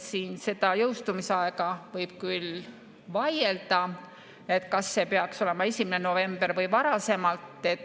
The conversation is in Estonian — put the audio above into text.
Selle jõustumisaja üle võib küll vaielda, kas see peaks olema 1. november või varasem.